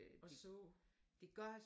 Og så?